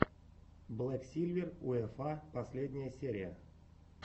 блэк сильвер у эф а последняя серия